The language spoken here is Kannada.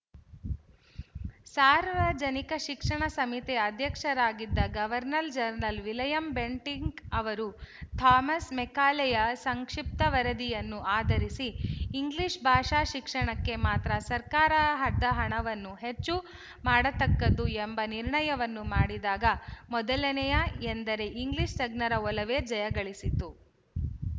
ಸಾರ್ವಜನಿಕ ಶಿಕ್ಷಣ ಸಮಿತಿಯ ಅಧ್ಯಕ್ಷರಾಗಿದ್ದ ಗವರ್ನರ್ ಜನರಲ್ ವಿಲಿಯಂ ಬೆಂಟಿಂಕ್ ಅವರು ಥಾಮಸ್ ಮೆಕಾಲೆಯ ಸಂಕ್ಶಿಪ್ತ ವರದಿಯನ್ನು ಆಧರಿಸಿ ಇಂಗ್ಲಿಶ ಭಾಷಾ ಶಿಕ್ಷಣಕ್ಕೆ ಮಾತ್ರ ಸರ್ಕಾರ ಹದ್ದ ಹಣವನ್ನು ಹೆಚ್ಚು ಮಾಡತಕ್ಕದ್ದು ಎಂಬ ನಿರ್ಣಯವನ್ನು ಮಾಡಿದಾಗ ಮೊದಲನೆಯ ಎಂದರೆ ಇಂಗ್ಲಿಶ ತಜ್ಞರ ಒಲವೇ ಜಯಗಳಿಸಿತು